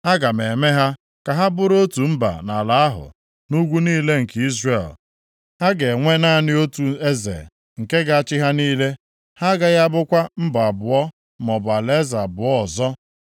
Aga m eme ha ka ha bụrụ otu mba nʼala ahụ, nʼugwu niile nke Izrel. Ha ga-enwe naanị otu eze nke ga-achị ha niile. Ha agaghị abụkwa mba abụọ maọbụ alaeze abụọ ọzọ.